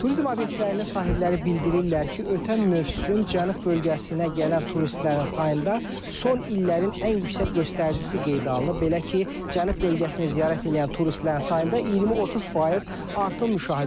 Turizm obyektlərinin sahibləri bildirirlər ki, ötən mövsüm Cənub bölgəsinə gələn turistlərin sayında son illərin ən yüksək göstəricisi qeydə alınıb, belə ki, Cənub bölgəsinə ziyarət eləyən turistlərin sayında 20-30% artım müşahidə olunub.